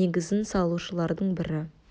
негізін салушылардың бірі